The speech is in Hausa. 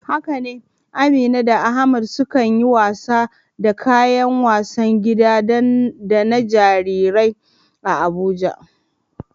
Haka ne, Amina da Ahmad sukan yi wasa da kayan wasan gida da na jarirai a Abuja.